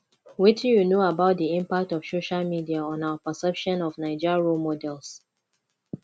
wetin you know about di impact of social media on our perception of naija role models